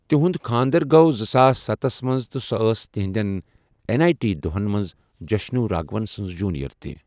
تہنٛد خانٛدر گوٚو زٕساس ستَس منٛز تہٕ سۄ ٲسۍ تہنٛدٮ۪ن این آٮٔی ٹی دۄہَن منٛز جشنو راگھون سنٛز جونیئر تہِ۔